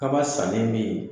Kaba san nin bɛ yen.